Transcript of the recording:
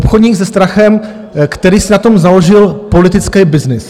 Obchodník se strachem, který si na tom založil politický byznys.